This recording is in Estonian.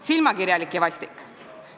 Silmakirjalik ja vastik.